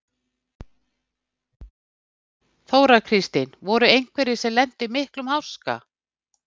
Þóra Kristín: Voru einhverjir sem að lentu í miklum háska?